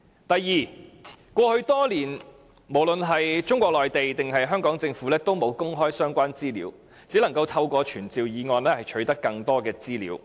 第二，過去多年，無論是中國內地或香港政府也沒有公開相關資料，我們只能透過傳召議案取得更多資料。